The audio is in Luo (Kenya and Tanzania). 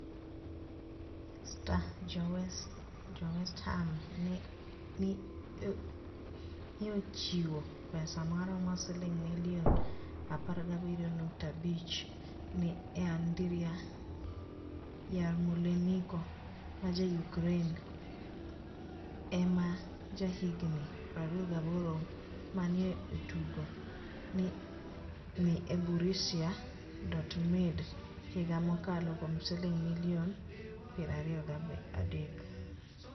(Star) Jo-West Ham ni e ochiwo pesa maromo silinig' milioni 17.5 ni e Anidriy Yarmoleniko ma ja-Ukraini e ma jahiginii 28 ma ni e otugo ni e Borussia Dortmunid higa mokalo kuom silinig' milioni 23.